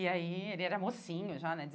E aí, ele era mocinho já, né?